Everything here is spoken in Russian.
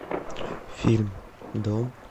фильм дом